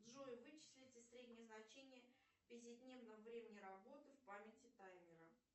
джой вычислите среднее значение пятидневного времени работы в памяти таймера